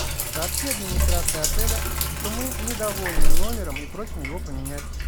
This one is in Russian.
сообщи администрации отеля что мы недовольны номером и просим его поменять